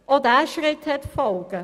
Auch dieser Schritt hat Folgen.